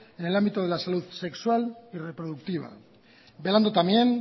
en el ámbito de la salud sexual y reproductiva velando también